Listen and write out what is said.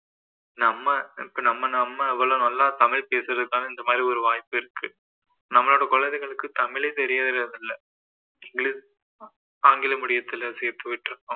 நம்ம இப்போ நம்ம நம்ம இவ்வளோ நல்லா தமிழ் பேசறதுக்கான இந்த மாதிரி ஒரு வாய்ப்பு இருக்கு நம்மளோட குழந்தைகளுக்கு தமிழே தெரியறதில்ல english ஆங்கில medium தில சேர்த்து விட்டிருக்கோம்